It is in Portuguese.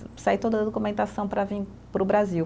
E sai toda a documentação para vir para o Brasil.